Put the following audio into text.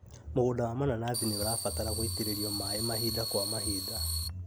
Mũgũnda wa mananathi nĩũrabatara gũitĩrĩrio maĩ mahinda kwa mahinda